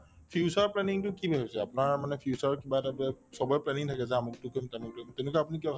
future planning তো কি ভাবিছে আপোনাৰ মানে future কিবা এটা চবৰে planning থাকে যে আমুকতো কৰিম তামুকতো কৰিম তেনেকুৱা আপুনি কিবা